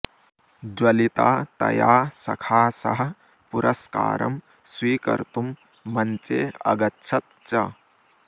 ज्वलिता तया सखा सह पुरुस्कारं स्वीकरितुम् मञ्चे अगच्छत् च